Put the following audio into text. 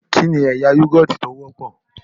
Kí ni ẹ̀yà Yúgọ̀ọ̀tì tí ó wọ́pọ̀?